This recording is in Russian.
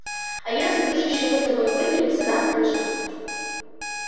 а если дружище мы с тобой не выберемся нам крышка